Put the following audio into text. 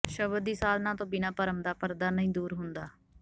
ਸ਼ਬਦ ਦੀ ਸਾਧਨਾ ਤੋਂ ਬਿਨਾਂ ਭਰਮ ਦਾ ਪਰਦਾ ਨਹੀਂ ਦੂਰ ਹੁੰਦਾ